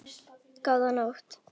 Þín, Kristín Fanný.